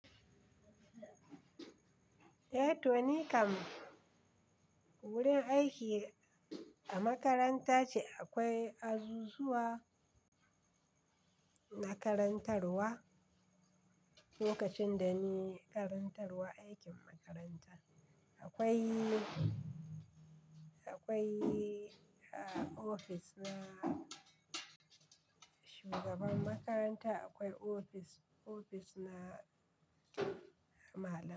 Eh to ni kam wurin aiki a makaranta ce. Akwai azuzuwa na karantarwa. Lokacin da ni karantarwa, aikin makaranta akwai, akwai ofis na shugaban makaranta, akwai ofis, ofis na malamai.